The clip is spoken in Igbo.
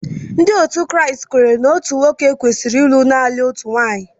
Ndị Kraịst kweere na nwoke kwesịrị ịlụ naanị otu nwaanyị.